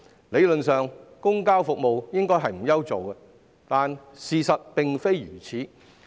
理論上，公共交通服務應該不愁沒有乘客，但事實並非如此。